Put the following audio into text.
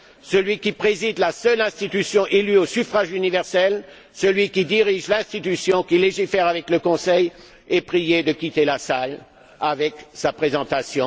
Celui qui préside la seule institution élue au suffrage universel, celui qui dirige l'institution qui légifère avec le Conseil est prié de quitter la salle après sa présentation.